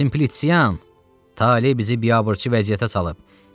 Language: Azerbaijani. Simpliçian, tale bizi biabırçı vəziyyətə salıb.